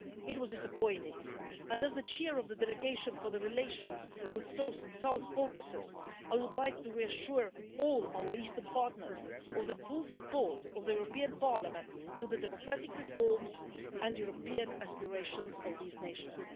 It was disappointing, and as the Chair of the delegation for relations with the South Caucasus, I would like to reassure all our Eastern partners of the full support of the European Parliament to the democratic reforms and European aspirations of these nations.